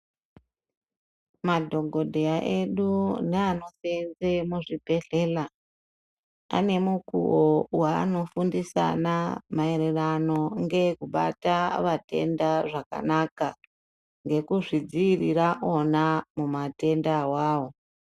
Madhokodheya edu neanoseenze muzvibhehlera ane mukuwo wanofundisana maererano ngekubata vatenda zvakanaka ngekuzvidzivirira vona mumatenda awawo.